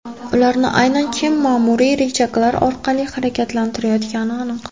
Ularni aynan kim ma’muriy richaglar orqali harakatlantirayotgani aniq.